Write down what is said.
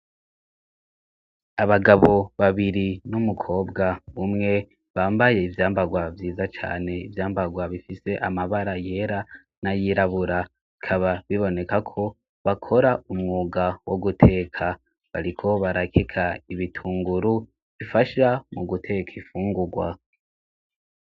Abagabo babiri n'umukobwa umwe bambaye ivyambagwa byiza cane, ivyambarwa bifise amabara yera n'ayirabura. Bikaba biboneka ko bakora umwuga wo guteka. Bariko barakeka ibitunguru bifasha mu guteka imfungurwa.